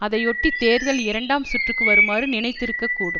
அதையொட்டி தேர்தல் இரண்டாம் சுற்றுக்கு வருமாறு நினைத்திருக்கக்கூடும்